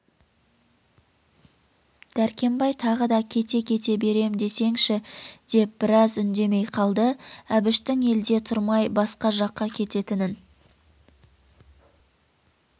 дәркембай тағы да кете-кете берем десеңші деп біраз үндемей қалды әбіштің елде тұрмай басқа жаққа кететінін